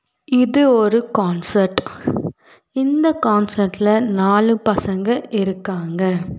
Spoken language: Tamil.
இது ஒரு கான்சர்ட் இந்த கான்சர்ட்ல நாலு பசங்க இருக்காங்க.